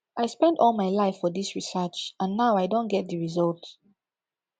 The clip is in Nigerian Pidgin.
i spend all my life for dis research and now i don get the result